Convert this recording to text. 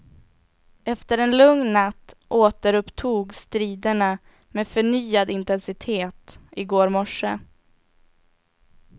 Efter en lugn natt återupptogs striderna med förnyad intensitet i går morse.